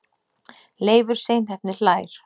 Leifur seinheppni hlær.